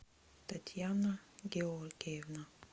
татьяна георгиевна